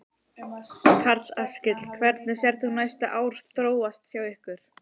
Karl Eskil: Hvernig sérð þú næstu ár þróast hjá ykkur?